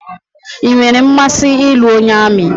I nwèrè mmasị ịlụ onye amị